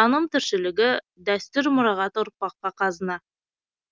таным тіршілігі дәстүр мұрағаты ұрпаққа қазына